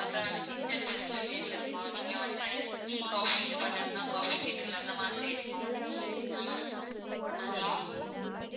அப்புறம் வந்து kitchen facilities இருக்கும் நீங்க வந்து tea coffee இது பண்ணனும்னா coffee kettle அந்த மாதிரி இருக்கும் ஹம் hello?